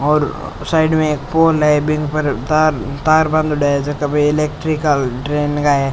और साइड में एक पोल है बिंग पर तार तार बंधड़े है झक इलेक्ट्रिकल ट्रेन का है।